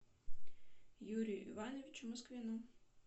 юрию ивановичу москвину